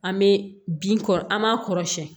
An bɛ bin kɔrɔ an m'a kɔrɔ siyɛn